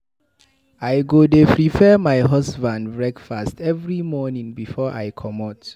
I go dey prepare my husband breakfast every morning before I comot.